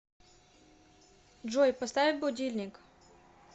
джой поставь будильник